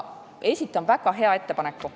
Esitan väga hea ettepaneku.